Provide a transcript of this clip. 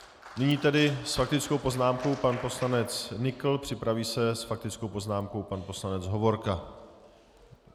Nyní tedy s faktickou poznámkou pan poslanec Nykl, připraví se s faktickou poznámkou pan poslanec Hovorka.